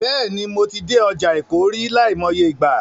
Bẹ́ẹ̀ni, mo ti dé ọjà Èkó rí, láìmọye ìgbà.